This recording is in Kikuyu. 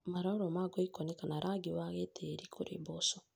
Maroro ma ngoikoni kana rangi wa gĩtĩĩri kũrĩ mboco